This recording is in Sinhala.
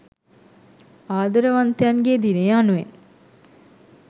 ආදරවන්තයන්ගේ දිනය යනුවෙන්